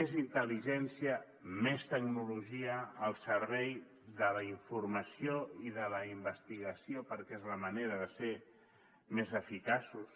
més intel·ligència més tecnologia al servei de la informació i de la investigació perquè és la manera de ser més eficaços